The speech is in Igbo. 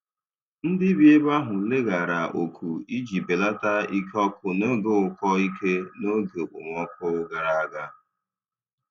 Ndị bi ebe ahụ leghaara oku iji belata ike ọkụ n'oge ụkọ ike n'oge okpomọkụ gara aga.